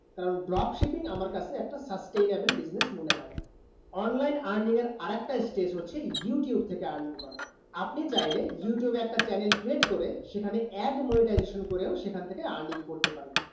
কারণ dropshipping আমার কাছে একটা sustainable business মনে হয়ে না online earning এর আর একটা stage হচ্ছে youtube থেকে earning করা আপনি চাইলে youtube একটা channel create করে সেখানে ad monetization করেও সেখান থেকে earning করতে পারেন